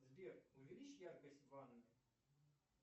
сбер увеличь яркость в ванной